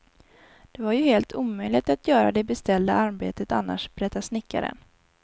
Det var ju helt omöjligt att göra det beställda arbetet annars, berättar snickaren.